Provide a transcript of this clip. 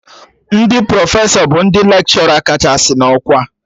Ndị Profesọ bụ ndị lekshọra kachasị na ọkwa